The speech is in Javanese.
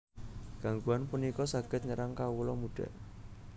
Gangguan punika saged nyerang kawula muda